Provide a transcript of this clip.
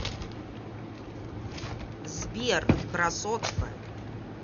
сбер красотка